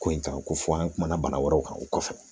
Ko in kan ko fɔ an kumana bana wɛrɛw kan o kɔfɛ